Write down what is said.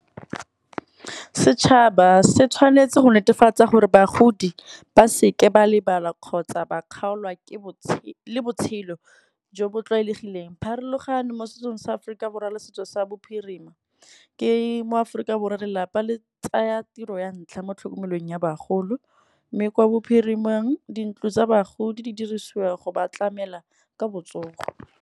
Setšhaba se tshwanetse go netefatsa gore bagodi ba seke ba lebala kgotsa ba kgaolwa le botshelo jo bo tlwaelegileng. Pharologano mo setsong sa Aforika Borwa le se setso sa bophirima, ke mo Aforika Borwa lelapa le tsaya tiro ya ntlha mo tlhokomelong ya bagolo. Mme kwa bophirimeng dintlo tsa bagodi di dirisiwa go ba tlamela ka botsogo.